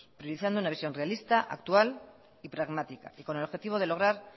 priorizando una visión realista actual y pragmática y con el objetivo de lograr